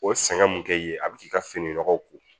O sɛgɛn mun kɛ i ye a bɛ k'i ka fini nɔgɔ ko